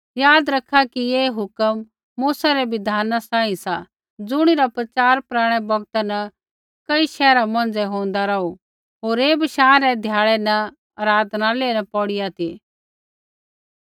याद रखा कि ऐ हुक्म मूसा रै बिधाना सांही सा ज़ुणिरा प्रचार पराणै बौगता न कई शैहरा मौंझ़ै होंदा रौहा ती होर ऐ बशाँ रै ध्याड़ै न आराधनालय न पौढ़िआ ती